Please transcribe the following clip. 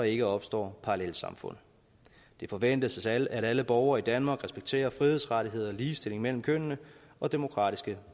ikke opstår parallelsamfund det forventes at alle borgere i danmark respekterer frihedsrettigheder ligestilling mellem kønnene og demokratiske